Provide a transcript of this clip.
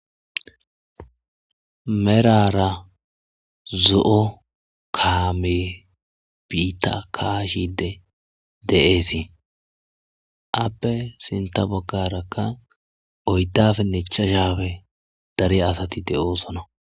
merara zo'o kaame biita kashide de'esi appe sinta bogarakka oydafe nechashafe dare asati de'oosona